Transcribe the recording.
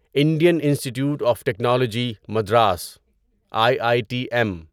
Indian institute of technology Madras I I T M